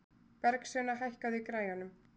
Bergsveina, hækkaðu í græjunum.